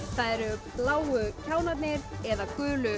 það eru bláu kjánarnir eða gulu